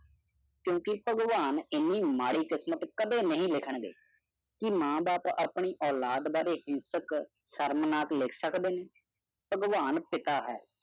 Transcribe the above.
ਘਰ ਮੇਰੀ ਕਿਸਮਤ ਵਿੱਚ ਇੰਨਾ ਨਹੀਂ ਜਿੰਨਾ ਆਮਦਨ ਕਾਰਡ ਲਿਖਿਆ ਹੈ ਮਾਪੇ ਹਿੰਸਕ ਹਨ ਸ਼ਰਮਨਾਕ ਲਿਨਸਕ ਬਨੀ ਤੈ ਭਗਵਾਨ ਪਿਤਾ ਹੇ ॥